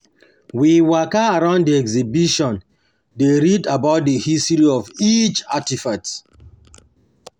We waka round di exhibition, dey read about di history of each artifact.